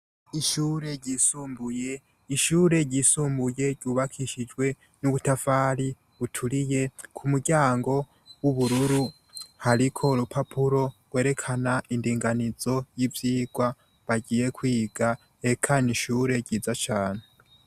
Ishure ryisumbuye. Ishure ryisumbuye ryubakishijwe n'ubutafari buturiye, ku muryango w'ubururu hariko urupapuro rwerekana indinganizo y'ivyigwa bagiye kwiga, eka ni ishure ryiza cane.